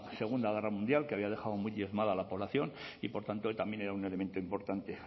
segunda guerra mundial que había dejado muy diezmada a la población y por tanto también era un elemento importante